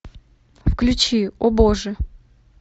включи о боже